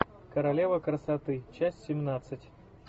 королева красоты часть семнадцать